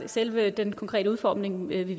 selve den konkrete udformning vil vi